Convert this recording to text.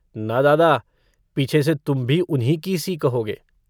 न दादा, पीछे से तुम भी उन्हीं की-सी कहोगे।